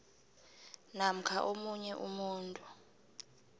namkha omunye umuntu